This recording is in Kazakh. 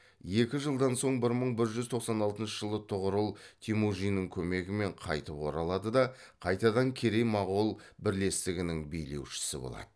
екі жылдан соң бір мың бір жүз тоқсан алтыншы жылы тұғырыл темүжиннің көмегімен қайтып оралады да қайтадан керей мағол бірлестігінің билеушісі болады